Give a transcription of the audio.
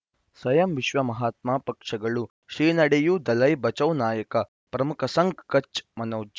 ಸ್ವಯಂ ವಿಶ್ವ ಮಹಾತ್ಮ ಪಕ್ಷಗಳು ಶ್ರೀ ನಡೆಯೂ ದಲೈ ಬಚೌ ನಾಯಕ ಪ್ರಮುಖ ಸಂಘ ಕಚ್ ಮನೋಜ್